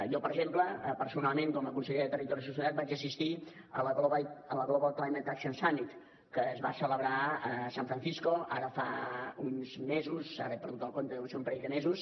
jo per exemple personalment com a conseller de territori i sostenibilitat vaig assistir a la global climate action summit que es va celebrar a san francisco ara fa uns mesos ara n’he perdut el compte deuen ser un parell de mesos